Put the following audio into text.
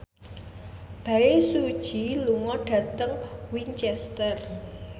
Bae Su Ji lunga dhateng Winchester